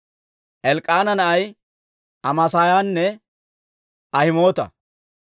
Elk'k'aana naanay Amaasaayanne Ahimoota.